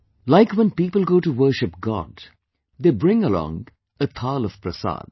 Like when people go to worship God, they bring along a Thaal of Prasad